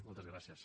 moltes gràcies